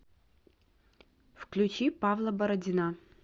включи павла бородина